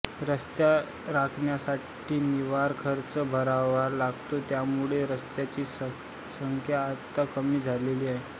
रस्ते राखण्यासाठी निर्वाह खर्च भरायला लागतो त्यामुळे रस्त्यांची संख्या आता कमी झाले आहेत